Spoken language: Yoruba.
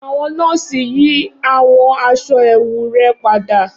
Awọn nọọsi yi awọn aṣọ ẹwu rẹ pada